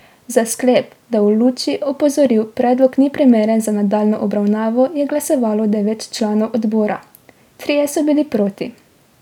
Za sklep, da v luči opozoril predlog ni primeren za nadaljnjo obravnavo, je glasovalo devet članov odbora, trije so bili proti.